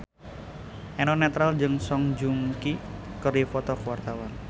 Eno Netral jeung Song Joong Ki keur dipoto ku wartawan